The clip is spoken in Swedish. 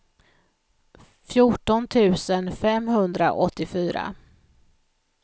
fjorton tusen femhundraåttiofyra